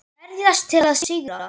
Berjast til að sigra.